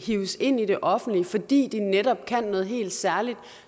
hives ind i det offentlige fordi de netop kan noget helt særligt